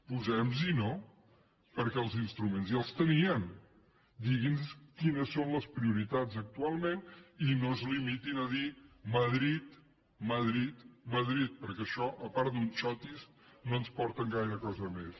posem nos hi no perquè els instruments ja els tenien digui’ns quines són les prioritats actualment i no es limitin a dir madrid madrid madrid perquè això a part d’un xotis no ens porta a gaire cosa més